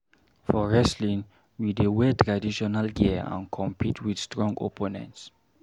For wrestling, we dey wear traditional gear and compete with strong opponents.